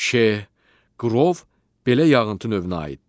Şeh, qrov belə yağıntı növünə aiddir.